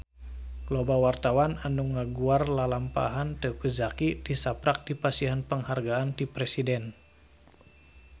Loba wartawan anu ngaguar lalampahan Teuku Zacky tisaprak dipasihan panghargaan ti Presiden